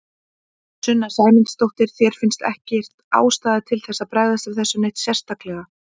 Sunna Sæmundsdóttir: Þér finnst ekkert ástæða til þess að bregðast við þessu neitt sérstaklega?